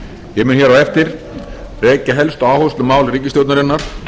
ég mun hér á eftir rekja helstu áherslumál ríkisstjórnarinnar